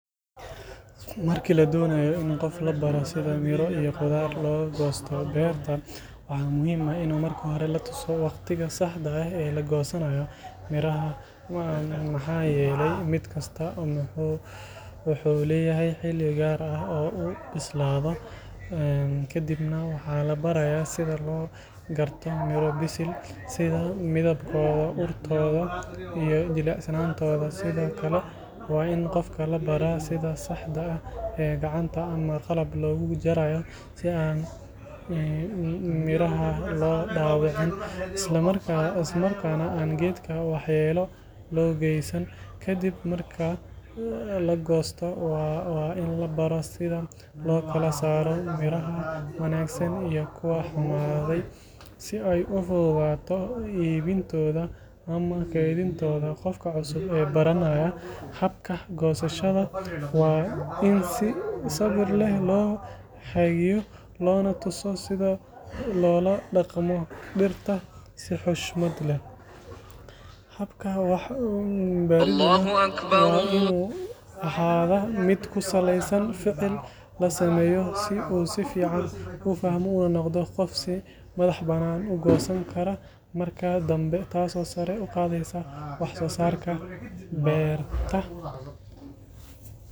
Marki la donayo in qof labaro, waxaa muhiim ah in latuso waqtiga saxda ah, sido loo gurto mira bisil, sida saxda gacanta ama qalab loogu Jaro, geedka wax yeelo loo geesan, sida loo kala saara miraha wanagsan iyo kuwa kale, habka gosashada oo latuso sida loola daqmo, mid kusaleysan ficil, uu noqdo qof si madax furan u goosto marka danbe.